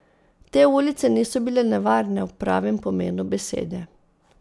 Te ulice niso bile nevarne v pravem pomenu besede.